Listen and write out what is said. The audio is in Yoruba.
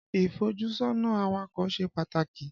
Ìfójúsọ́nà awakọ̀ ṣe pàtàkì.